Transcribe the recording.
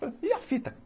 Falei, e a fita?